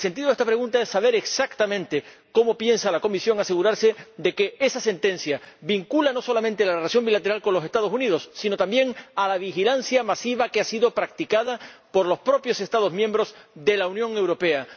El sentido de esta pregunta es saber exactamente cómo piensa la Comisión asegurarse de que esa sentencia es vinculante no solamente para la relación bilateral con los Estados Unidos, sino también para la vigilancia masiva que ha sido practicada por los propios Estados miembros de la Unión Europea.